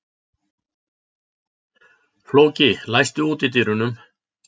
Flóki, læstu útidyrunum.